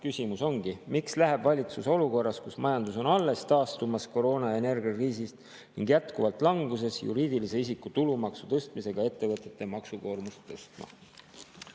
Küsimus ongi: miks läheb valitsus olukorras, kus majandus on alles taastumas koroona- ja energiakriisist ning jätkuvalt languses, juriidilise isiku tulumaksu tõstmisega ettevõtete maksukoormust tõstma?